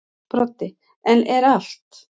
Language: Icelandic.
Broddi: En er allt.